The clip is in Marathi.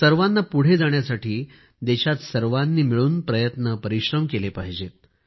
सर्वांना पुढे जाण्यासाठी देशात सर्वांनी मिळून प्रयत्न परिश्रम केले पाहिजेत